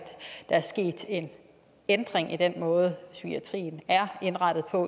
der er sket en ændring i den måde psykiatrien er indrettet på